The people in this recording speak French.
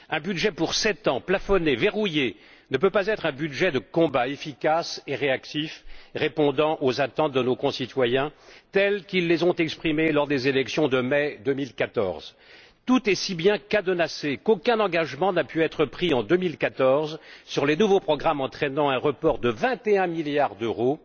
Un budget pour sept ans plafonné, verrouillé ne peut pas être un budget de combat efficace et réactif répondant aux attentes de nos concitoyens telles qu'ils les ont exprimées lors des élections de mai 2014. Tout est si bien cadenassé qu'aucun engagement n'a pu être pris en 2014 sur les nouveaux programmes entraînant un report de 21 milliards d'euros